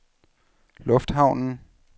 lufthavnen